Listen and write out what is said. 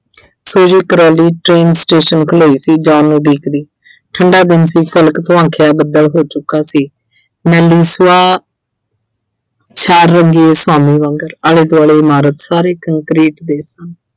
Suji, Crawley train station ਖਲੋਈ ਸੀ John ਨੂੰ ਉਡੀਕਦੀ। ਠੰਡਾ ਦਿਨ ਸੀ। ਕਣਕ ਬੱਦਲ ਹੋ ਚੁੱਕਾ ਸੀ। ਵਾਂਗਰ ਆਲੇ-ਦੁਆਲੇ ਇਮਾਰਤ ਸਾਰੇ concrete ਦੇ ਸਨ।